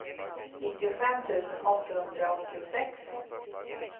nittiofem tusen åttahundraåttiosex